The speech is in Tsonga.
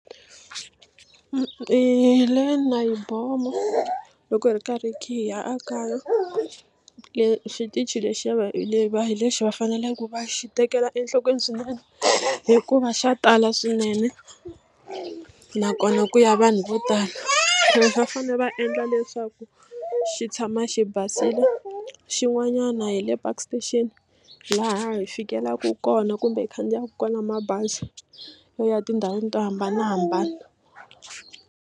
loko hi ri karhi khe hi ya ekaya le xitichi lexi le va hi lexi va faneleke va xi tekela enhlokweni swinene hikuva xa tala swinene nakona ku ya vanhu vo tala va fanele va endla leswaku xi tshama xi basile xin'wanyana hi le Park station laha hi fikelelaka kona kumbe hi khandziyaka kona mabazi yo ya tindhawini to hambanahambana.